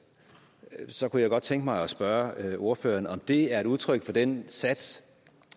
så kunne jeg godt tænke mig at spørge ordføreren om det er et udtryk for den sats